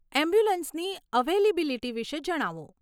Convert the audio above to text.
એમ્બ્યુલન્સની availability વિષે જણાવો.